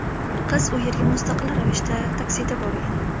Qiz u yerga mustaqil ravishda taksida borgan.